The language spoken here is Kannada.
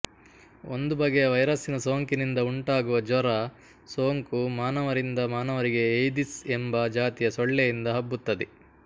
ಒಂದು ಬಗೆ ವೈರಸ್ಸಿನ ಸೋಂಕಿನಿಂದ ಉಂಟಾಗುವ ಜ್ವರ ಸೋಂಕು ಮಾನವರಿಂದ ಮಾನವರಿಗೆ ಎಯ್ದಿಸ್ ಎಂಬ ಜಾತಿಯ ಸೊಳ್ಳೆಯಿಂದ ಹಬ್ಬುತ್ತದೆ